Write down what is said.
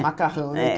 Macarrão, né? É